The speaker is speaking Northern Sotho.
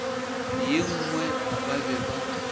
ye nngwe ba be ba